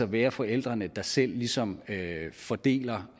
være forældrene selv der ligesom fordeler